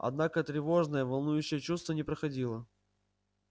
однако тревожное волнующее чувство не проходило